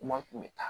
Maa tun bɛ taa